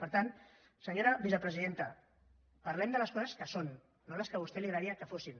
per tant senyora vicepresidenta parlem de les coses que són no de les que a vostè li agradaria que fossin